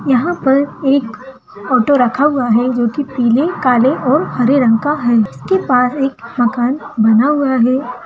यहां पर एक ऑटो रखा हुआ है जो पीले काले और हरे रंग का है इसके पास एक मकान बना हुआ है।